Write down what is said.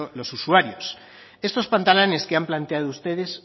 los usuarios estos pantalanes que han planteado ustedes